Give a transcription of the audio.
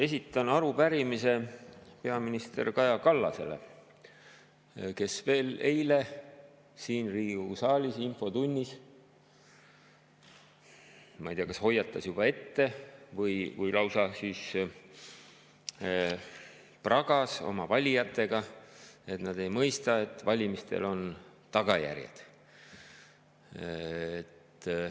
Esitan arupärimise peaminister Kaja Kallasele, kes veel eile siin Riigikogu saalis infotunnis, ma ei tea, kas hoiatas juba ette või lausa pragas oma valijatega, et nad ei mõista, et valimistel on tagajärjed.